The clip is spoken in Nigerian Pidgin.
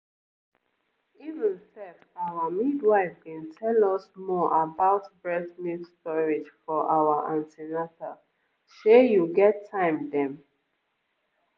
even sef our midwife bin tell us more about breast milk storage for our an ten atal shey you get time dem.